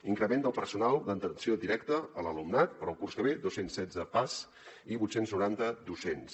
increment del personal d’atenció directa a l’alumnat per al curs que ve dos cents i setze pas i vuit cents i noranta docents